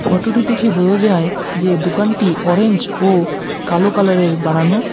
ফটোটি দেখে বোঝা যায় যে দোকানটি অরেঞ্জ ও কালো কালারের বানানো।